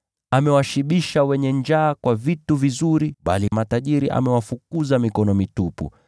Amewashibisha wenye njaa kwa vitu vizuri, bali matajiri amewafukuza mikono mitupu.